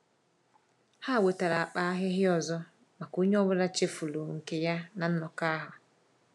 Ha wetara akpa ahịhịa ọzọ maka onye ọbụla chefuru nke ya na nnọkọ ahụ.